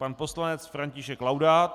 Pan poslanec František Laudát.